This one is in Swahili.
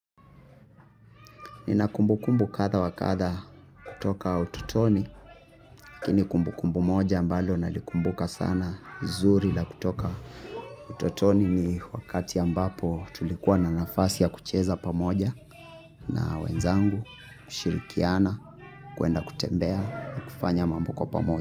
Nina kumbukumbu kadha wa kadha kutoka utotoni, lakini kumbukumbu moja ambalo nalikumbuka sana zuri la kutoka utotoni ni wakati ambapo tulikuwa na nafasi ya kucheza pamoja na wenzangu, kushirikiana, kwenda kutembea na kufanya mambo kwa pamoja.